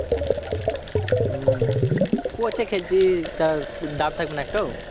হম coach এ খেলছি তাও দাম থাকবে না একটুও?